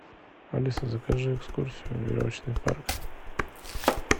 алиса закажи экскурсию в веревочный парк